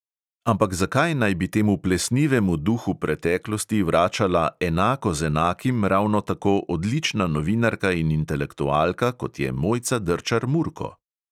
Ampak zakaj naj bi temu plesnivemu duhu preteklosti vračala "enako z enakim" ravno tako odlična novinarka in intelektualka, kot je mojca drčar-murko?